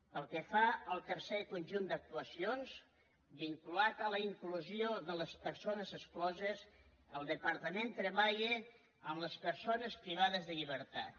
pel que fa al tercer conjunt d’actuacions vinculat a la inclusió de les persones excloses el departament treballa amb les persones privades de llibertat